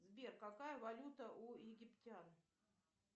сбер какая валюта у египтян